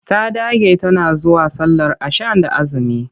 Ta dage tana zuwa sallar ashan da aazumi.